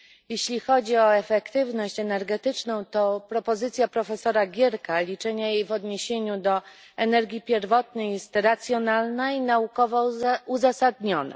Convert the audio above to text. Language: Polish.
Jeśli chodzi o efektywność energetyczną, to propozycja profesora Gierka liczenia jej w odniesieniu do energii pierwotnej jest racjonalna i naukowo uzasadniona.